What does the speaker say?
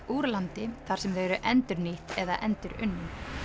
úr landi þar sem þau eru endurnýtt eða endurunnin